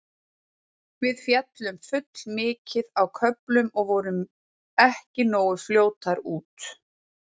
Við féllum full mikið á köflum og vorum ekki nógu fljótar út.